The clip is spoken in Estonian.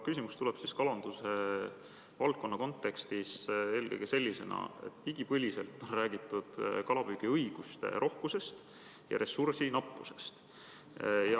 Küsimus tuleb kalanduse valdkonna kohta, eelkõige sellest vaatevinklist, et igipõliselt on räägitud kalapüügiõiguste rohkusest ja ressursi nappusest.